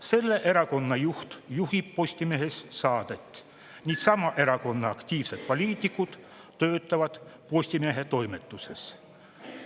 Selle erakonna juht juhib Postimehes saadet ning sama erakonna aktiivsed poliitikud töötavad Postimehe toimetuses.